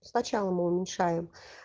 сначала мы уменьшаем